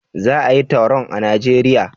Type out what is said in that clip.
Za a yi taron a najeria?